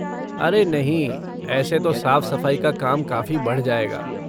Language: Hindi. अरे नहीं, ऐसे तो साफ़ सफ़ाई का काम काफ़ी बढ़ जाएगा!